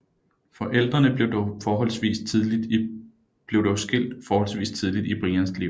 Forældrene blev dog skilt forholdsvis tidligt i Brians liv